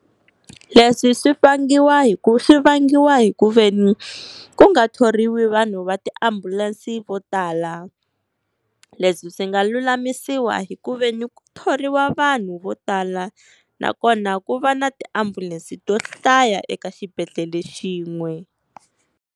Leswi swi vangiwa hi ku swi vangiwa hi ku veni ku nga thoriwi vanhu va tiambulense vo tala. Leswi swi nga lulamisiwa hi ku veni ku thoriwa vanhu vo tala, nakona ku va na tiambulense to hlaya eka xibedhlele xin'we.